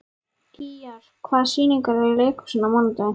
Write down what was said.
Gígjar, hvaða sýningar eru í leikhúsinu á mánudaginn?